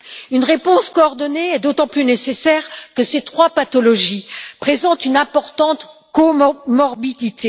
Une réponse coordonnée est d'autant plus nécessaire que ces trois pathologies présentent une importante comorbidité.